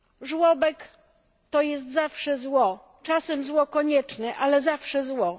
Żłobek to jest zawsze zło, czasem zło konieczne, ale zawsze zło.